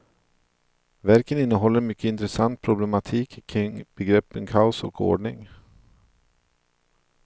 Verken innehåller en mycket intressant problematik kring begreppen kaos och ordning.